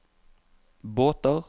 båter